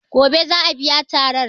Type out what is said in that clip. Gobe za a biya tarar.